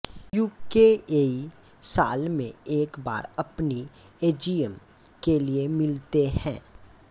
यूकेईए साल में एक बार अपनी एजीएम के लिए मिलते हैं